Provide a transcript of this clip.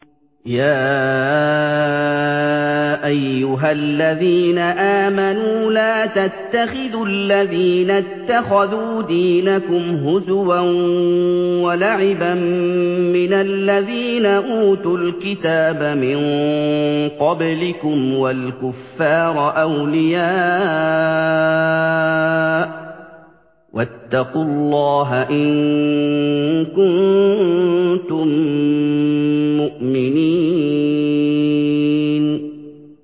يَا أَيُّهَا الَّذِينَ آمَنُوا لَا تَتَّخِذُوا الَّذِينَ اتَّخَذُوا دِينَكُمْ هُزُوًا وَلَعِبًا مِّنَ الَّذِينَ أُوتُوا الْكِتَابَ مِن قَبْلِكُمْ وَالْكُفَّارَ أَوْلِيَاءَ ۚ وَاتَّقُوا اللَّهَ إِن كُنتُم مُّؤْمِنِينَ